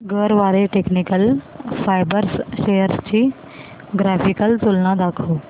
Garware technical fibres shares ची graphical तुलना दाखव